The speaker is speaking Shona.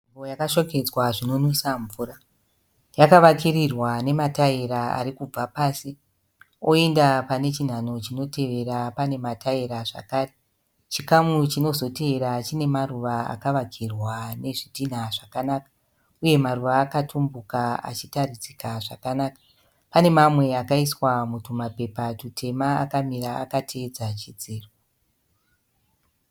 Nzvimbo yakashongedzwa zvinonwisa mvura. Yakavakirirwa nemataira ari kubva pasi, oenda pane chinhanho chinoteera pane mataera zvakare. Chikamu chinozotevera chine maruva akavakirwa nezvidhinha zvakanaka, uye maruva akatumbuka achitaridzika zvakanaka. Pane mamwe akaiswa mutwumapepa twutema akamira akateedza chidziro.